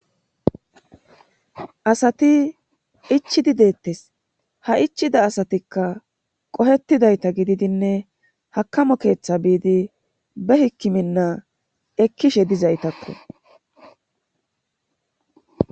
asati ichidi deettes ha ichida asatikka qohetidayta gididinne hakamo keeththa biidi be hikkiminna ekkishe dizaytakko